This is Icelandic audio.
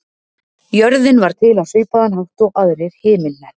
Jörðin varð til á svipaðan hátt og aðrir himinhnettir.